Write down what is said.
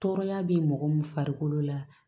Tɔɔrɔya bɛ mɔgɔ min farikolo la